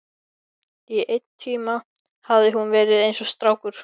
Í einn tíma hafði hún verið eins og strákur.